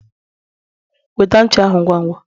wete ncha ahu ngwa ngwa!